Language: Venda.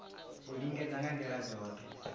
u lingedza nga ndila dzothe